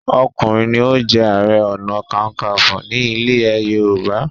ọkùnrin ní o jé aré ọnà kankanfo ní ilè yorùbá.